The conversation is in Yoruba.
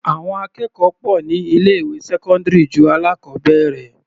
Àwọn akẹ́kọ̀ọ́ pọ̀ ní ilé ìwé sẹ́cọ́ndírì ju alákọbẹ̀rẹ̀.